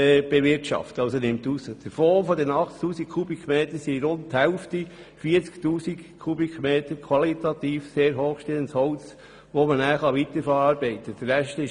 Davon ist rund die Hälfte qualitativ sehr hochstehendes Holz, das weiterverarbeitet werden kann.